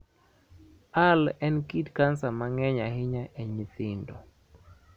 ALL en kit kansa ma ng�eny ahinya e nyithindo.